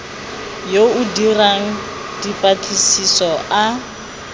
yo o dirang dipatlisiso a